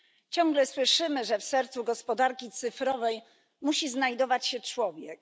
Ciągle słyszymy, że w sercu gospodarki cyfrowej musi znajdować się człowiek.